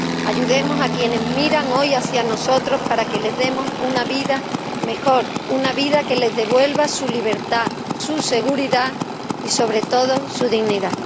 Ayudemos a quienes miran hoy hacia nosotros para que les demos una vida mejor, una vida que les devuelva su libertad, su seguridad y, sobre todo, su dignidad.